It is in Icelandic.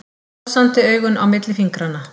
Brosandi augun á milli fingranna.